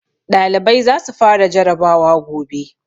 Ɗalibai za su fara jarabawa gobe